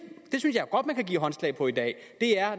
jeg godt man kan give håndslag på i dag